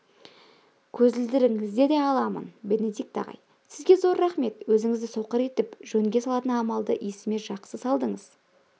көзілдірігіңізді де аламын бенедикт ағай сізге зор рақмет өзіңізді соқыр етіп жөнге салатын амалды есіме жақсы салдыңыз